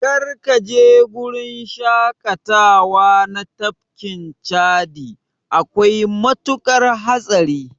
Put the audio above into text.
Kar kaje gurin shaƙatawa na tafkin Chadi, akwai matuƙar hatsari.